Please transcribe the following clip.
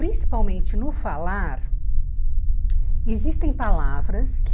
Principalmente no falar, existem palavras que...